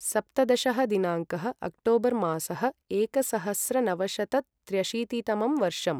सप्तदशः दिनाङ्कः अक्टोबर् मासः एकसहस्रनवशतत्र्यशीतितमं वर्षम्